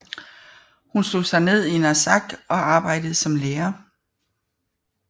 Hun slog sig ned i Narsaq og arbejdede som lærer